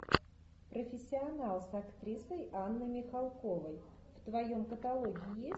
профессионал с актрисой анной михалковой в твоем каталоге есть